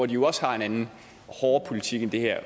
de jo også har en anden hårdere politik end det her